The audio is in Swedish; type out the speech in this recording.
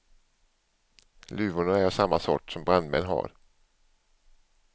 Luvorna är av samma sort som brandmän har.